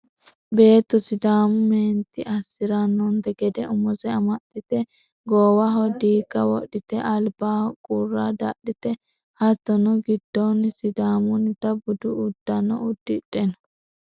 beetto sidaamu meenti assirannonte gede umose amaxxite goowaho diigga wodhite albaho qurra dadhite hattono giddoonni sidaamunnita budu uddano uddidhe no